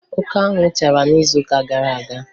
Oke anwụ chara n'izuụka gara aga